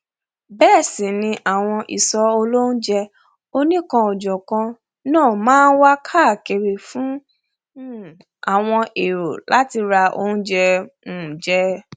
bẹẹ sì ni àwọn ìsọ olóúnjẹ onikanòjọkan náà máa nwà káàkiri fún um àwọn èrò láti ra óújẹ um jẹ